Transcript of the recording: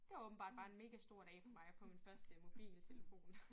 Det var åbenbart bare en mega stor dag for mig at få min første mobiltelefon